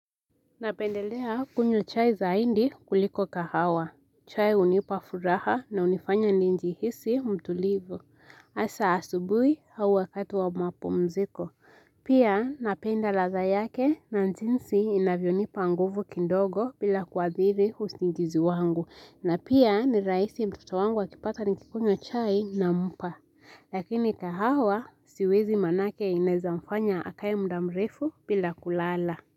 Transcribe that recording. Napendelea kunywa chai zaindi kuliko kahawa. Chai hunipa furaha na unifanya ninjihisi mtulivu. Hasa asubuhi au wakati wa mapumziko. Pia napenda ladha yake na njinsi inavyonipa nguvu kindogo bila kuadhiri usingizi wangu. Na pia ni rahisi mtoto wangu akipata nikikunywa chai nampa. Lakini kahawa siwezi manake inaezamfanya akae muda mrefu bila kulala.